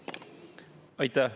Aitäh!